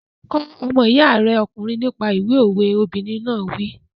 Kọ́ ọmọ iya rẹ ọkùnrin nípa ìwé òwe! Obìnrin náà wí.